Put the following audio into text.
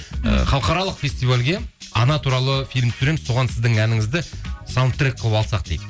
і халықаралық фестивальге ана туралы фильм түсіреміз соған сіздің әніңізді саундтрек қылып алсақ дейді